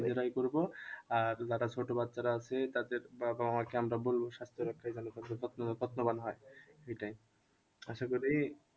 নিজেরাই করবো আর যারা ছোট বাচ্চারা আছে তাদের বাবা মা কে আমরা বলবো স্বাস্থ্য রক্ষায় যেন তাদের যত্ন, যত্নবান হয় এটাই আশা করি